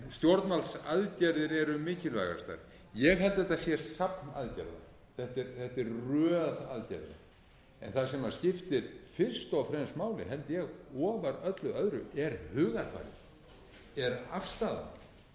stjórnvaldsaðgerðir eru mikilvægastar ég held að þetta sé safn aðgerða þetta er röð aðgerða en það sem skiptir fyrst og fremst máli held ég ofar öllu öðru er hugarfarið er afstaða